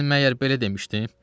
Mən məyər belə demişdim?